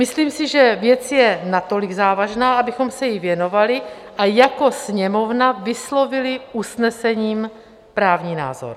Myslím si, že věc je natolik závažná, abychom se jí věnovali a jako Sněmovna vyslovili usnesením právní názor.